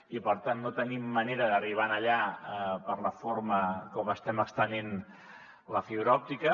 i per tant no tenim manera d’arribar allà per la forma com estem estenent la fibra òptica